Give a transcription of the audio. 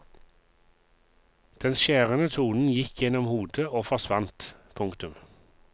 Den skjærende tonen gikk gjennom hodet og forsvant. punktum